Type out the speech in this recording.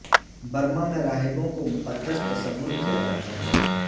Burma میں راہبوں کو مقدس تصور کیا جاتا ہے